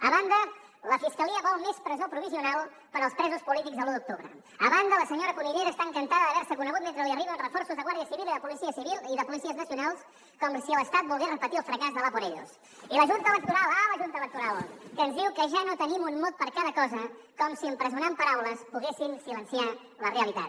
a banda la fiscalia vol més presó provisional per als presos polítics de l’u d’octubre a banda la senyora cunillera està encantada d’haver se conegut mentre li arriben reforços de guàrdia civil i de policies nacionals com si l’estat volgués repetir el fracàs de l’ja no tenim un mot per a cada cosa com si empresonant paraules poguessin silenciar la realitat